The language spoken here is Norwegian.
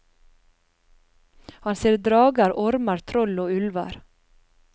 Han ser drager, ormer, troll og ulver.